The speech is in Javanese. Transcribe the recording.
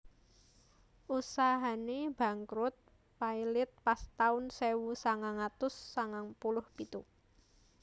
Usahane bangkrut pailit pas taun sewu sangang atus sangang puluh pitu